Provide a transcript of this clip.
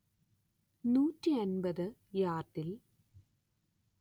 നൂറ്റി അന്‍പത്ത് യാർഡിൽ